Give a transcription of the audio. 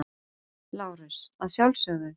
LÁRUS: Að sjálfsögðu.